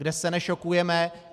Kde se nešokujeme.